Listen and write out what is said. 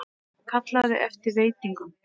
Kallaði eftir veitingum.